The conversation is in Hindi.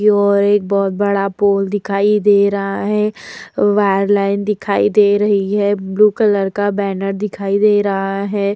योर एक बहोत बड़ा पोल दिखाई दे रहा है। वायरलाइन दिखाई दे रही है। ब्लू कलर का बैनर दिखाई दे रहा है।